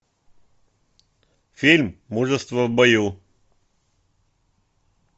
фильм мужество в бою